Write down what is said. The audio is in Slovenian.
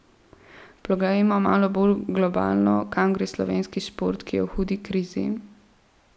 Poglejmo malo bolj globalno, kam gre slovenski šport, ki je v hudi krizi.